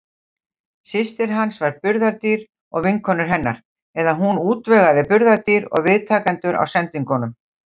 Systir hans var burðardýr, og vinkonur hennar, eða hún útvegaði burðardýr og viðtakendur á sendingunum.